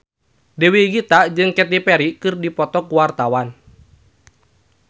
Dewi Gita jeung Katy Perry keur dipoto ku wartawan